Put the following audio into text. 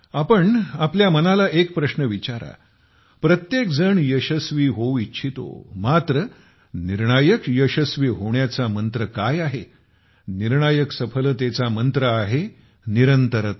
आपण आपल्या मनाला एक प्रश्न विचारा प्रत्येक जण यशस्वी होऊ इच्छितो मात्र निर्णायक यशस्वी होण्याचा मंत्र काय आहे निर्णायक सफलतेचा मंत्र आहे निरंतरता